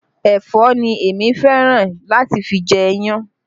Ẹ̀fọ́ ni èmi fẹ́ràn láti fi jẹ iyan